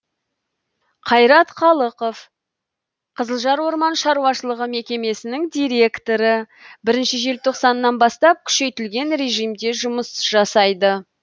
қайрат қалықов қызылжар орман шаруашылығы мекемесінің директоры бірінші желтоқсаннан бастап күшейтілген режимде жұмыс жасайды